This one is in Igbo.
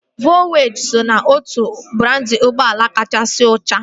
Volzwajịn so n'otu brandị ụgbọala kachasị ọchịe